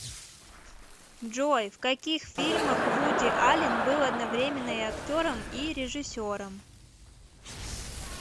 джой в каких фильмах вуди аллен был одновременно и актером и режиссером